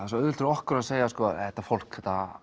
svo auðvelt fyrir okkur að segja þetta fólk